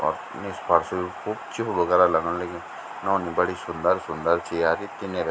और निस फ़र्स खूब च्फ्लू वगैरा लगण लग्युं नौनी बड़ी सुन्दर-सुन्दर छी यार ये तिन्या का --